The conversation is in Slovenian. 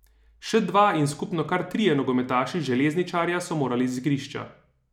Še dva in skupno kar trije nogometaši Željezničarja so morali z igrišča.